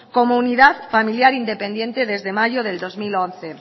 como unidad familiar independiente desde mayo del dos mil once